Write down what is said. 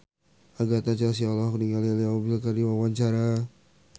Agatha Chelsea olohok ningali Leo Bill keur diwawancara